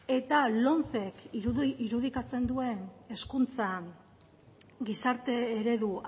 eta lomce k irudikatzen duen hezkuntza gizarte eredu